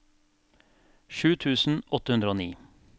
sju tusen åtte hundre og ni